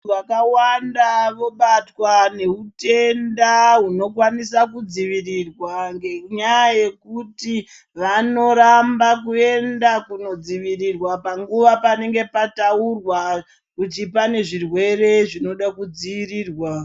Vantu vakawanda vobatwa ngehutenda hunokwanisa kudzivirirwa ngenyaya yekuti vanoramba kuenda kunodzivirirwa panguva panenge pataurwa kuti pane zvirwere zvinoda kudziirirwa.